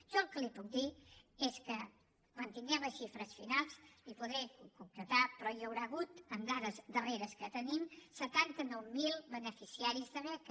jo el que li puc dir és que quan en tinguem les xifres finals li ho podré concretar però hi haurà hagut amb dades darreres que tenim setanta nou mil beneficiaris de beca